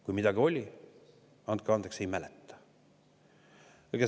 Kui midagi oli, andke andeks, ei mäleta.